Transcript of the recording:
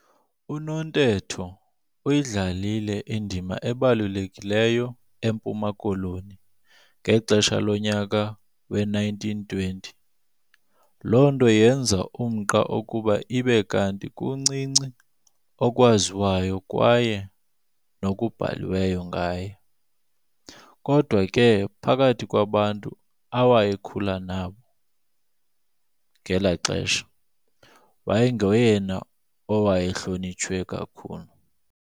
UNontetho uyidlalile indima ebalulekileyo eMpuma Koloni ngexesha lonyaka we-1920 lonto yenza umnqa ukuba ibe kanti kuncinci okwaziwayo kwaye nokubhaliweyo ngaye. Kodwa ke phakathi kwabantu awayekhula nabo ngela xesha, wayengoyena owayehlonitshwe kakhulu.